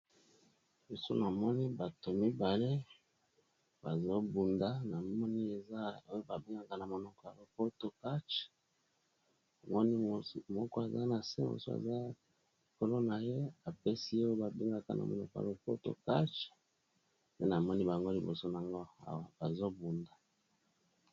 losunamoni bato mibale bazobunda na moni ezay babengaka na monoko ya lopoto katch amoni moko aza na se mosu aza likolo na ye apesi e oyo babengaka na mono pa lopoto catch pe namoni bango liboso n ngo bazobunda